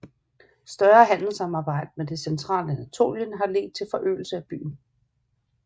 Større handelssamarbejde med det centrale Anatolien har ledt til forøgelse af byen